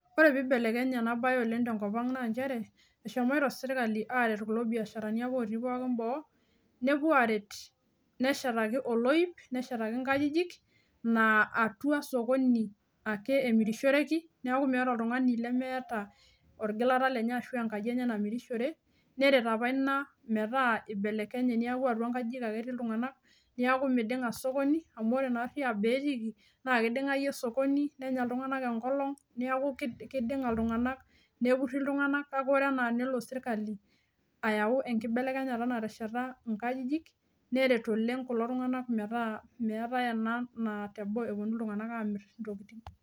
Ore pibelekenya oleng enasiai tenkopang naa nchere , eshomoita sirkali aret irbiasharani otii boo , nepuo aret neshetaki oloip , neshetaki nkajijik naa atua sokoni ake emirishoreki , niaku meeta oltungani lemeeta orgilata lenye ashu enkaji enye namirishore , neret apa ina metaa ibelkenye niaku atua nkajijik ake etii iltunganak , niaku midinga sokoni , neret oleng iltunganak.